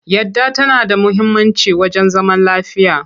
Yadda tana da muhimmanci wajen zaman lafiya.